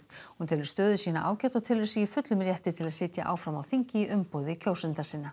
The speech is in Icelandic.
hún telur stöðu sína ágæta og telur sig í fullum rétti til að sitja áfram á þingi í umboði kjósenda sinna